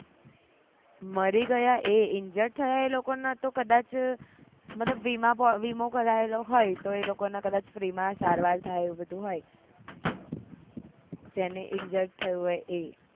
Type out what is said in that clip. મરી ગયા એ injured થયા એ લોકો ને કદાચ મતલબ વીમો કરાવ્યો હોય તો ઈ લોકો ને free માં સારવાર થાય એવું બધું હોય જેને injured થયું હોય એ